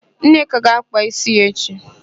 Nneka ga-ákpà ísí ya echi.